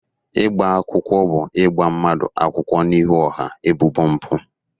Ịgba akwụkwọ bụ ịgba mmadụ akwụkwọ n'ihu ọha ebubo mpụ.